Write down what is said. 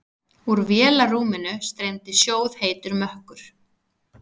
Úr vélarrúminu streymdi sjóðheitur mökkur.